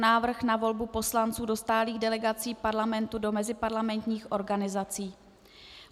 Návrh na volbu poslanců do stálých delegací Parlamentu do meziparlamentních organizací